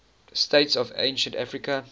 states of ancient africa